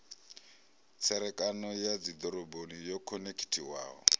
tserekano ya dzidoroboni yo khonekhithiwaho